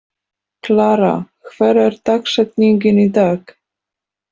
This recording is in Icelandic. Klara, hver er dagsetningin í dag?